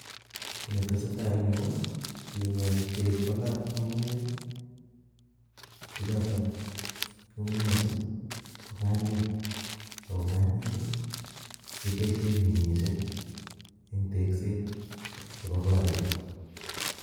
Kiit netesetaa eng' yuu ko king'et beek kolaa ng'ung'unyek chechoto ng'ung'unyechu ko nganyeek ak ko nganyeek keboishen mising en tekset chebo korik.